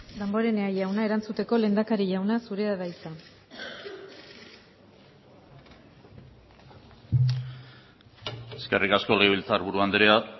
damborenea jauna erantzuteko lehendakari jauna zurea da hitza eskerrik asko legebiltzarburu andrea